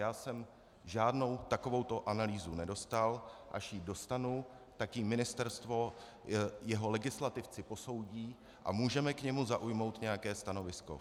Já jsem žádnou takovouto analýzu nedostal, až ji dostanu, tak ji ministerstvo, jeho legislativci posoudí a můžeme k ní zaujmout nějaké stanovisko.